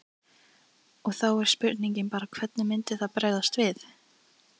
Og þá er spurningin bara hvernig myndi það bregðast við?